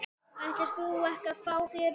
Ætlar þú ekki að fá þér líka?